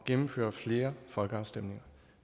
gennemføre flere folkeafstemninger